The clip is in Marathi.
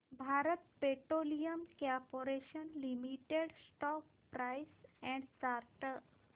Bharat petroleum corporation limited stock price and chart